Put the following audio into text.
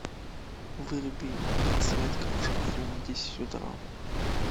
выруби подсветка в шкафу в десять утра